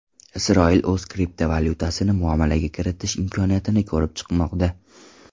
Isroil o‘z kriptovalyutasini muomalaga kiritish imkoniyatini ko‘rib chiqmoqda.